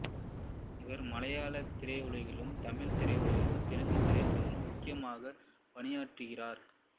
இவர் மலையாளத் திரையுலகிலும் தமிழ்த் திரையுலகிலும் தெலுங்கு திரையுலகிலும் முக்கியமாக பணியாற்றுகிறார்